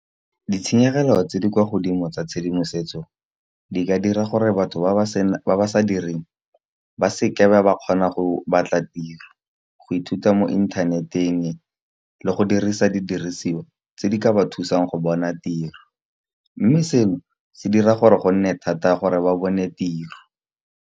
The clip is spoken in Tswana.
Ditshenyegelo tse di kwa godimo tsa tshedimosetso, di ka dira gore batho ba ba sa direng ba seka ba ba kgona go batla tiro. Go ithuta mo internet-eng le go dirisa didirisiwa tse di ka ba thusang go bona tiro, mme seno se dira gore go nne thata gore ba bone tiro.